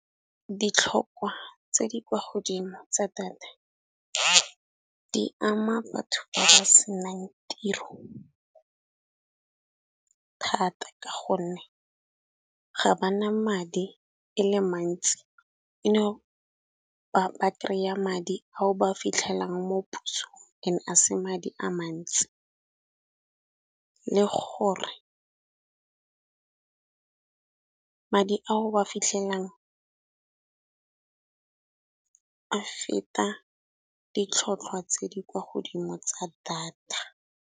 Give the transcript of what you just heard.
Ditlhokwa tse di kwa godimo tsa data di ama batho ba ba senang tiro thata, ka gonne ga ba na madi e le mantsi eno ba ba kry-a madi ao ba fitlhelang mo pusong and a se madi a mantsi. Le gore madi ao ba fitlhelelang a feta ditlhotlhwa tse di kwa godimo tsa data.